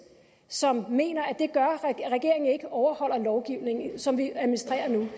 som mener at overholder lovgivningen sådan som vi administrerer nu